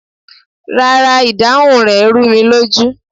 Rárá, ìdáhùn rẹ̀ rúnilójú